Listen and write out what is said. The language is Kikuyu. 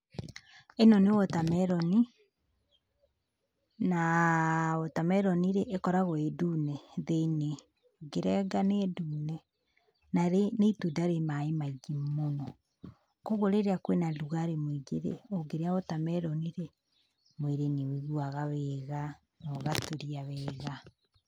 ĩno nĩ water melon, na water melon rĩ, ĩkoragwo ĩndune thĩinĩ, ũngĩrenga nĩ ndune, na nĩ itunda rĩ maĩ maingĩ mũno, koguo rĩrĩa kwĩna rugarĩ mũingĩ rĩ, ũngĩrĩa water melon rĩ, mwĩrĩ nĩ ũiguaga wega noga tulia wega.